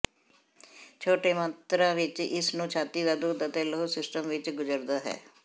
ਛੋਟੇ ਮਾਤਰਾ ਵਿੱਚ ਇਸ ਨੂੰ ਛਾਤੀ ਦਾ ਦੁੱਧ ਅਤੇ ਲਹੂ ਸਿਸਟਮ ਵਿੱਚ ਗੁਜਰਦਾ ਹੈ